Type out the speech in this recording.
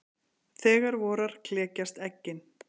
Þegar vorar klekjast eggin.